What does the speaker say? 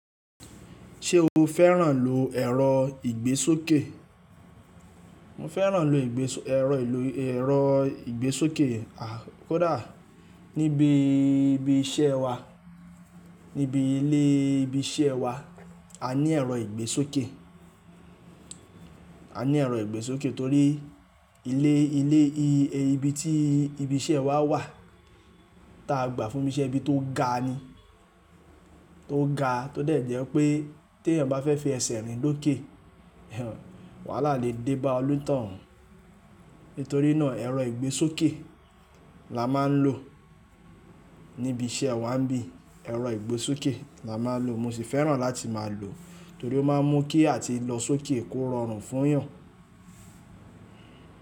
Ṣé o fẹ́ràn lò ẹ̀rọ ìgbésókè? Mo fẹ́ràn lò ìgbè, ẹ̀rọ ìlò, ẹ̀rọ ìgbésókè, à, kódà níbi ibi iṣẹ́ wa, níbi ilé ibi iṣẹ́ wa, a ní ẹ̀rọ ìgbésókè. A ní ẹ̀rọ ìgbésókè torí ilé, ilé yí, ibi tí ibi iṣẹ́ wa wà, ta gbà fún mi ṣe ibi tó ga ni. Tó ga tó dẹ̀ jẹ́ pé tí ẹ̀yàn bá fẹ́ fi ẹsẹ̀ rìn lóké, hhen, wàá lá lè dé bá onìtàn hun. Nítorí náà ẹ̀rọ ìgbésókè la máa ń lò níbi iṣẹ́ wa ń bí, ẹ̀rọ ìgbésókè la máa ń lò. Mo sì fẹ́ràn láti máa lò torí ó máa ń mú kí àti lọ sókè kó rọrùn fún èèyàn.